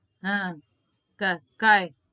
હા થાય